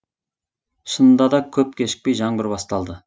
шынында да көп кешікпей жаңбыр басталды